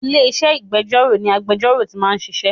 Ilé-iṣẹ́ ìgbẹ́jọ́ ni agbejọ́rò tí máa ń ṣiṣẹ́.